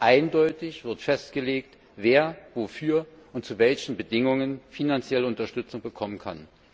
Eindeutig wird festgelegt, wer wofür und zu welchen Bedingungen finanzielle Unterstützung bekommen kann.